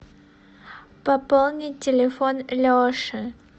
пополнить телефон леши